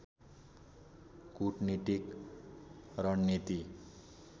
कुटनीतिक रणनीति